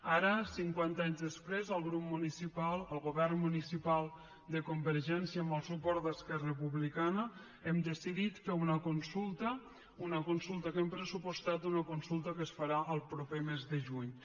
ara cinquanta anys després el govern municipal de convergència amb el suport d’esquerra republicana hem decidit fer una consulta una consulta que hem pressupostat una consulta que es farà el proper mes de juny